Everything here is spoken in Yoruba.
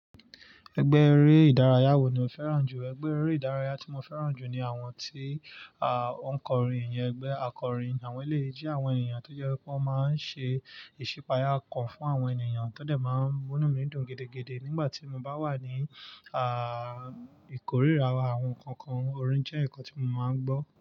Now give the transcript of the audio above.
Ẹgbẹ́ eré ìdárayá wo ni o fẹ́ràn jù? Ẹgbẹ́ eré ìdárayá tí mo fẹ́ràn jù ni àwọn tí, o ń kọrin iyẹn, ẹgbẹ́ akọrin. Àwọn eleyii je àwọn ènìyàn tó jẹ́ wipé wọ́n máa ń ṣe ìṣípayà okan fún àwọn ènìyàn tó dẹ̀ máa ń mú inù mi dun gidigidi nígbà tí mo bá wà ní, àà, ìkóríra àwọn nnkan kan orin jẹ́ ǹnkan tí mo máa ń gbọ́.